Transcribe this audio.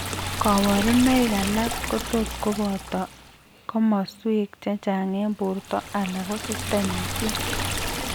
Kaborunoik alak kotot kobooto komoswek chechang' eng' borto alako systemisiek